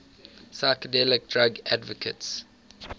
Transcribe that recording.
psychedelic drug advocates